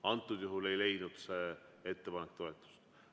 Antud juhul ei leidnud see ettepanek toetust.